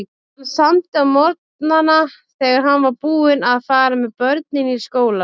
Hann samdi á morgnana þegar hann var búinn að fara með börnin í skólann.